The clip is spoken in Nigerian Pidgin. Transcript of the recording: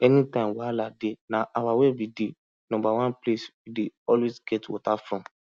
anytime wahala dey na our well be di number one place we dey always get water from